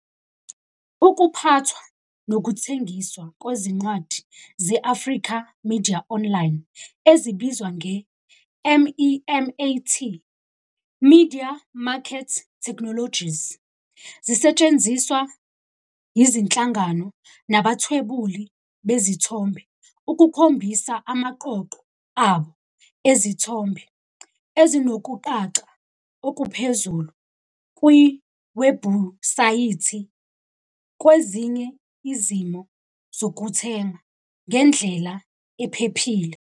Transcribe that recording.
Ukuphathwa nokuthengiswa kwezincwadi ze-Africa Media Online, ezibizwa nge-MEMAT, Media Market Technologies, zisetshenziswa yizinhlangano nabathwebuli bezithombe ukukhombisa amaqoqo abo ezithombe ezinokucaca okuphezulu kwiwebhusayithi, kwezinye izimo zokuthenga, ngendlela ephephile.